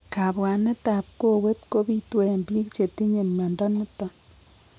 Kabwanet ab kowet kobitu en biik chetinye mnyondo niton